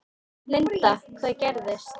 Linda: Hvað gerðist?